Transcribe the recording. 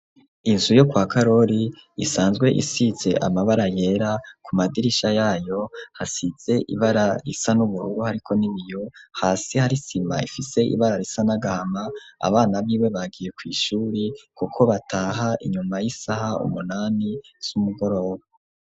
Inzu yo kwa Karori isanzwe isize amabara yera, ku madirisha yayo hasize ibara risa n'ubururu, hariko n'ibiyo, hasi hari isima ifise ibara risa n'agahama, abana biwe bagiye kw'ishure kuko bataha inyuma y'isaha umunani z'umugoroba.